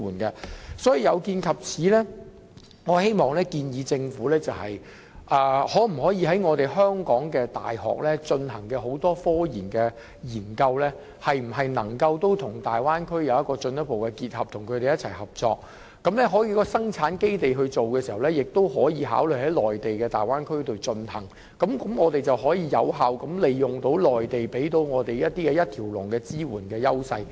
有見及此，我建議政府考慮是否可以促使香港各大學進行的科研項目與大灣區進一步結合，與他們一起合作，而在生產基地方面，也可以考慮在內地大灣區進行，這便能有效利用內地提供的一條龍支援。